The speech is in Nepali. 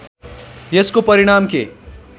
यसको परिणाम के